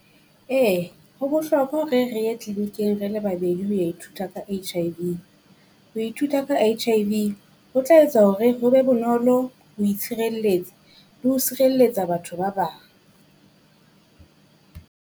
EE ho bohlokwa hore re yeclinicing re le babedi ho ya ithuta ka H_I_V, ho ithuta ka H_I_V ho tla etsa hore ho be bonolo ho itshirelletsa le ho sirelletsa batho ba bang.